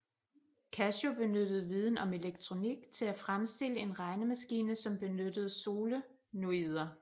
Kashio benyttede viden om elektronik til at fremstille en regnemaskine som benyttede solenoider